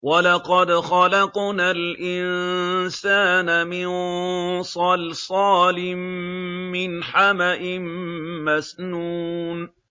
وَلَقَدْ خَلَقْنَا الْإِنسَانَ مِن صَلْصَالٍ مِّنْ حَمَإٍ مَّسْنُونٍ